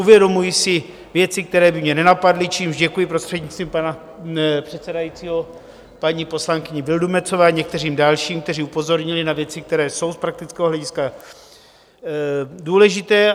Uvědomuji si věci, které by mě nenapadly, čímž děkuji, prostřednictvím pana předsedajícího, paní poslankyni Vildumetzové a některým dalším, kteří upozornili na věci, které jsou z praktického hlediska důležité.